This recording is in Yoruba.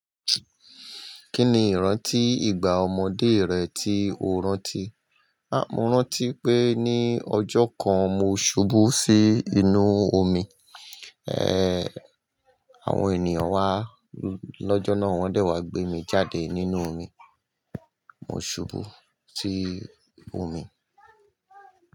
Kí ni ìrántí ìgbà ọmọdé rẹ tí o rántí? Mo ranti pe ni ojo kan mo subu si inu omi. Àwọn ènìyàn wá lọ́jọ́ náà, wọ́n dẹ̀ wá gbé mi jáde nínú omi. Mo ṣubú sí omi.